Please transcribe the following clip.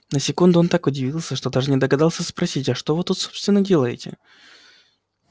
на секунду он так удивился что даже не догадался спросить а что вы тут собственно делаете